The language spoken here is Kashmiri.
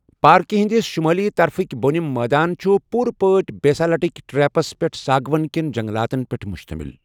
پارکہِ ہٕنٛدِس شُمٲلی طرفٕک بۄنِم مٲدان چھِ پوٖرِ پٲٹھۍ بیسالٹک ٹریپس پٮ۪ٹھ ساگون کٮ۪ن جنٛگلاتَن پٮ۪ٹھ مشتمل۔